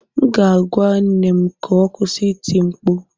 M ga-agwa nne m ka ọ kwụsị ịti mkpu